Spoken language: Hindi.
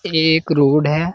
ये एक रोड है।